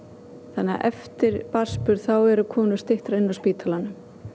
þannig að eftir barnsburð þá eru konur styttra inni á spítalanum